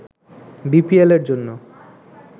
বিপিএলের জন্য